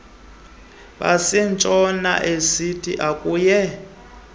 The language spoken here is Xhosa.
basentshona asia akunye